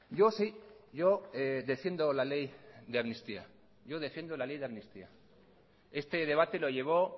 yo sí yo defiendo la ley de amnistía yo defiendo la ley de amnistía este debate lo llevó